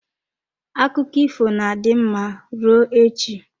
Akụkọ ifo na-adị mma rụọ echi.